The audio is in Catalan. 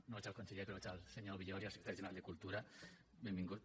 no veig el conseller però veig el senyor villòria secretari general de cultura benvingut